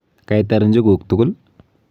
Kaitar njuguk tugul.